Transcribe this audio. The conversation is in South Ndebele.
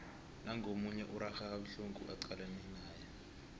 nangu omunye urarha kabuhlungu acalane naye